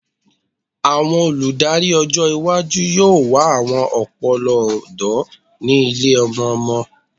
Awọn oludari ọjọ iwaju yoo wa awọn ọpọlọ ọdọ ni ile-ọmọ-ọmọ